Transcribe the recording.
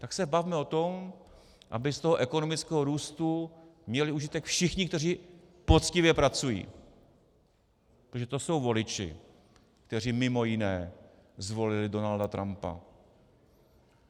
Tak se bavme o tom, aby z toho ekonomického růstu měli užitek všichni, kteří poctivě pracují, protože to jsou voliči, kteří mimo jiné zvolili Donalda Trumpa.